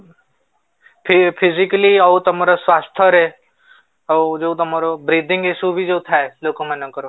physically ଆଉ ତମର ସ୍ୱାସ୍ଥ୍ୟ ରେ ଆଉ ଯୋଉ ତମର breathing ଯୋଉ ଥାଏ ଲୋକ ମାନଙ୍କର